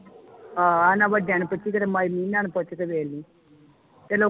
ਆਹ ਇਨਾ ਵਡੀਆਂ ਨੂੰ ਪੁੱਛੀ ਜਿਹੜੇ ਇਨਾ ਨੂੰ ਪੁੱਛ ਕੇ ਵੇਖ ਲਈ ਤੈਨੂੰ